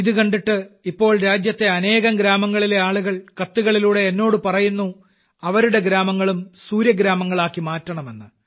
ഇതുകണ്ടിട്ട് ഇപ്പോൾ രാജ്യത്തെ അനേകം ഗ്രാമങ്ങളിലെ ആളുകൾ കത്തുകളിലൂടെ എന്നോടു പറയുന്നു അവരുടെ ഗ്രാമങ്ങളും സൂര്യഗ്രാമങ്ങളാക്കി മാറ്റണമെന്ന്